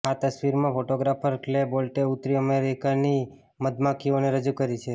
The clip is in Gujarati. આ તસવીરમાં ફોટોગ્રાફર ક્લે બોલ્ટે ઉત્તરી અમેરિકાની મધમાખીઓને રજૂ કરી છે